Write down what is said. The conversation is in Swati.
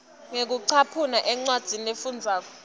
ngekucaphuna encwadzini lefundvwako